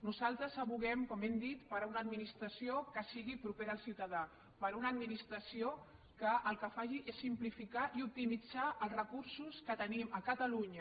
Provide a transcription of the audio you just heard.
nosaltres advoquem com hem dit per una administració que sigui propera al ciutadà per una administració que el que faci sigui simplificar i optimitzar els recursos que tenim a catalunya